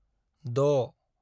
6